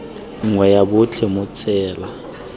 nngwe ya botlhe mo tsela